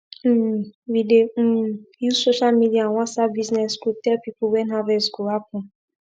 um we dey um use social media and whatsapp business group tell people when harvest go happen